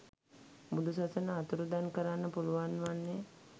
බුදු සසුන අතුරුදන් කරන්න පුළුවන් වන්නේ